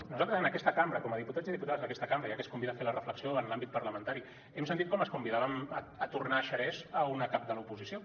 nosaltres en aquesta cambra com a diputats i diputades d’aquesta cambra ja que es convida a fer la reflexió en l’àmbit parlamentari hem sentit com es convidava a tornar a xerès a una cap de l’oposició